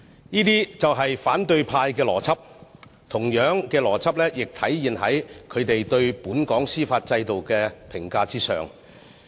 這些就是反對派的邏輯。同樣的邏輯亦體現在他們對本港司法制度的評價上。